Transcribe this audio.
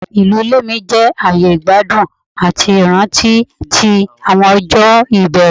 Ilu ile mi jẹ aaye igbadun ati iranti ti awọn ọjọ ibẹrẹ